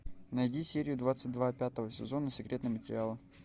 найди серию двадцать два пятого сезона секретные материалы